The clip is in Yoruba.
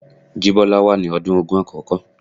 Jibola wà ní ọdún ogún àkókò.